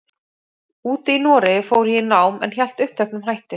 úti í Noregi fór ég í nám, en hélt uppteknum hætti.